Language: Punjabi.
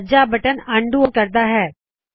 ਸੱਜਾ ਬਟਨ ਅਨਡੂ ਆਪਰੇਸ਼ਨ ਉਂਦੋ ਆਪਰੇਸ਼ਨ ਕਰਦਾ ਹੈ